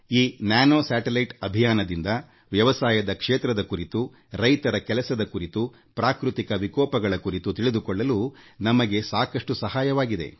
ಈ ನ್ಯಾನೋ ಉಪಗ್ರಹ ಉಡಾವಣೆಯಿಂದ ನಮಗೆ ಕೃಷಿ ತೋಟಗಾರಿಕೆ ಮತ್ತು ಪ್ರಕೃತಿ ವಿಕೋಪದ ವಿರುದ್ಧ ಸೆಣೆಸಲು ಉಪಯುಕ್ತವಾಗಲಿದೆ